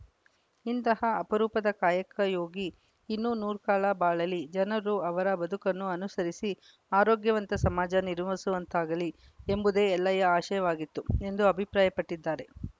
ಇಂತಹ ಅಪರೂಪದ ಕಾಯಕ ಯೋಗಿ ಇನ್ನೂ ನೂರ್ಕಾಲ ಬಾಳಲಿ ಜನರು ಅವರ ಬದುಕನ್ನು ಅನುಸರಿಸಿ ಆರೋಗ್ಯವಂತ ಸಮಾಜ ನಿರ್ಮಿಸುವಂತಾಗಲಿ ಎಂಬುದೇ ಎಲ್ಲಯ ಆಶಯವಾಗಿತ್ತು ಎಂದು ಅಭಿಪ್ರಾಯನ್ ಪಟ್ಟಿದ್ದಾರೆ